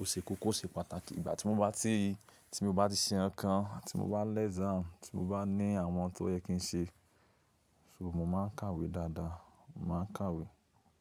Ó se kókó, ó se pàtàkì. Ìgbà tí mo bá ti, tí mo bá ti ṣe nkan kan ti mo bá lẹ́ exam, tí mo bá ní àwọn tó yẹ kí n ṣe, só mo máa ń kàwé dáadáa, mo máa ń kàwé.